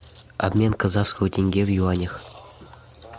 обмен казахского тенге в юанях